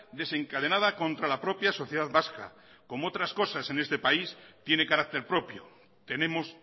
desencadenada contra la propia sociedad vasca como otras cosas en este país tiene carácter propio tenemos